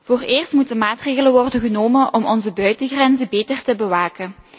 Vooreerst moeten maatregelen worden genomen om onze buitengrenzen beter te bewaken.